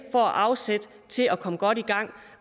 får afsæt til at komme godt i gang